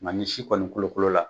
Nka ni si kɔnɔni kolokolo la